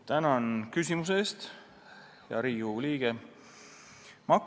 Tänan küsimuse eest, hea Riigikogu liige!